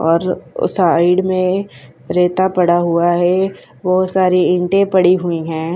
और साइड में रेता पड़ा हुआ है बहुत सारी ईंटे पड़ी हुई हैं।